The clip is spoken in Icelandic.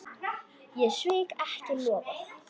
Ég svík ekki loforð.